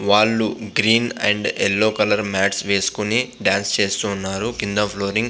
వాళ్ళు green and yellow colour mats వెస్కొని dance చేస్తున్నారు కింద ఫ్లోరింగ్ --